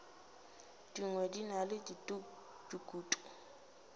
dingwe di na le dikutu